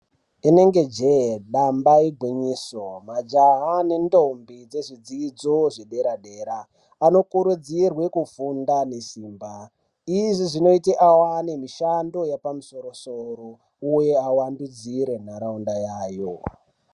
Inenge je damba ye gwinyiso, majaha ne ntombi dzezvidzidzo zve zvedera dera anokurudzirwe kufunda nesimba izvi zvinoita awane mishando yepamusoro soro uye awandudzire nharaunda yayo.